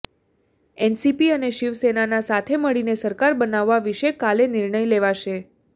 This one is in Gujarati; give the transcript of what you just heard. એનસીપી અને શિવસેનાના સાથે મળીને સરકાર બનાવવા વિશે કાલે નિર્ણય લેવાશે